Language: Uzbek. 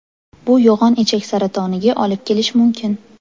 Bu yo‘g‘on ichak saratoniga olib kelish mumkin.